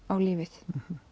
á lífið